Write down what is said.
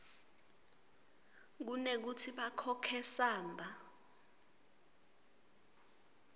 kunekutsi bakhokhe samba